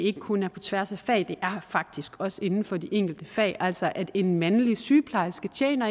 ikke kun er på tværs af fag men faktisk også inden for de enkelte fag altså at en mandlig sygeplejerske